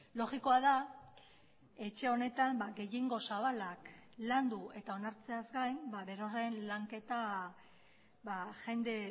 logikoa da etxe honetan gehiengo zabalak landu eta onartzeaz gain berorren lanketa jende